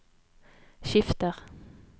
skifter